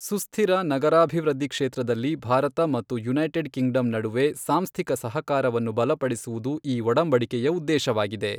ಸುಸ್ಥಿರ ನಗರಾಭಿವೃದ್ಧಿ ಕ್ಷೇತ್ರದಲ್ಲಿ ಭಾರತ ಮತ್ತು ಯುನೈಟೆಡ್ ಕಿಂಗ್ಡಮ್ ನಡುವೆ ಸಾಂಸ್ಥಿಕ ಸಹಕಾರವನ್ನು ಬಲಪಡಿಸುವುದು ಈ ಒಡಂಬಡಿಕೆಯ ಉದ್ದೇಶವಾಗಿದೆ.